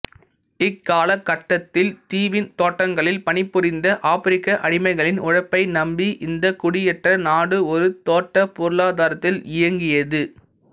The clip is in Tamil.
இக்காலகட்டத்தில் தீவின் தோட்டங்களில் பணிபுரிந்த ஆப்பிரிக்க அடிமைகளின் உழைப்பை நம்பி இந்தக் குடியேற்ற நாடு ஒரு தோட்டப் பொருளாதாரத்தில் இயங்கியது